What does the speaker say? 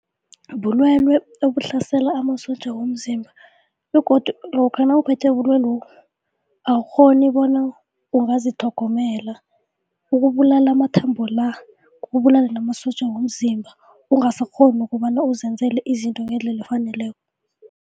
Bulwelwe obuhlasela amasotja womzimba begodu lokha nawuphethwe bulwelwe awukghoni bona angazitlhomela, ukubulala amathambo la, ukubulale namasotja womzimba ungasakghoni ukobana uzenzele izinto ngendlela efaneleko.